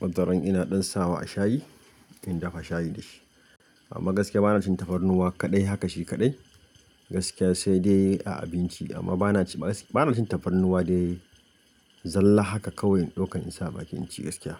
wataran ina ɗan sawa a shayi in dafa shayi da shi. Amma gaskiya bana cin tafarnuwa kaɗai haka shi kaɗai gaskiya sai dai a abinci amma bana ci gaskiya bana cin tafarnuwa dai zalla haka kawai in ɗauka in sa baki in ci gaskiya.